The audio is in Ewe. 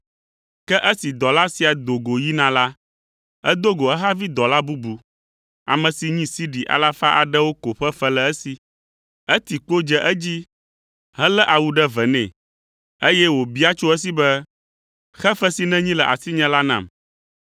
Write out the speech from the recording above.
“Ke esi dɔla sia do go yina la, edo go ehavi dɔla bubu, ame si nyi sidi alafa aɖewo ko ƒe fe le esi. Eti kpo dze edzi helé awu ɖe vɛ nɛ, eye wòbia tso esi be, ‘Xe fe si nènyi le asinye la nam!’